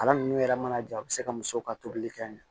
Kalan ninnu yɛrɛ mana ja u bɛ se ka muso ka tobili kɛ